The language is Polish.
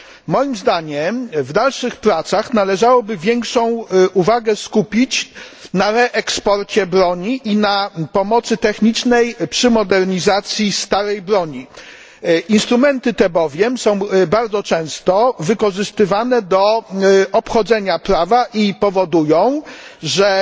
Moim zdaniem w dalszych pracach należałoby skupić większą uwagę na reeksporcie broni i pomocy technicznej przy modernizacji starej broni. Instrumenty te bowiem są bardzo często wykorzystywane do obchodzenia prawa i powodują,